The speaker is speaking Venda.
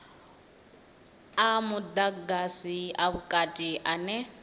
a mudagasi a vhukati ane